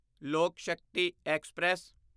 ਲੋਕ ਸ਼ਕਤੀ ਐਕਸਪ੍ਰੈਸ